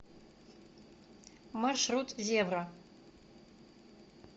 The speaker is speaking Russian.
маршрут зебра